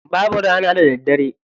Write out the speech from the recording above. Babu rana da daddare.